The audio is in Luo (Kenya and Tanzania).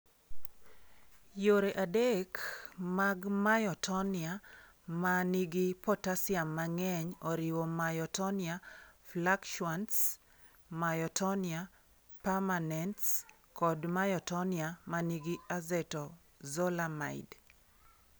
Yore adek mag myotonia ma nigi potassium mang'eny oriwo myotonia fluctuans, myotonia permanens, kod myotonia ma nigi acetazolamide.